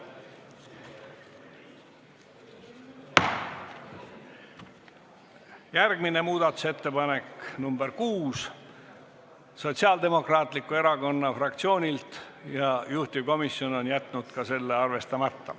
Järgmine muudatusettepanek on nr 6, see on Sotsiaaldemokraatliku Erakonna fraktsioonilt ja juhtivkomisjon on jätnud ka selle arvestamata.